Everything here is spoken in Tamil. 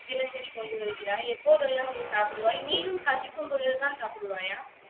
தினசரி கொண்டு வருகிறாய்? எப்போதெல்லாம் நீ சாப்பிடுவாய்? நீயும் பசிக்கும் பொழுதுதான் சாப்பிடுவாயா?